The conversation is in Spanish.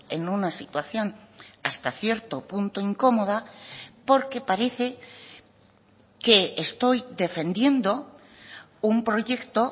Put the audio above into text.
en una situación hasta cierto punto incomoda porque parece que estoy defendiendo un proyecto